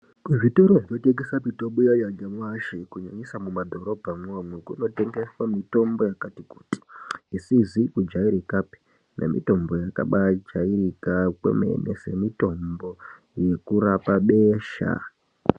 Kuzvitoro zvinotengesa mitombo iyaiya nyamashi kunyanyisa mumadhorobha mwomwo, kunotengeswa mitombo yakati kuti isizi kujaerekapi nemitombo yakabaa jaerekawo kwemene, semitombo ye kurapa besha.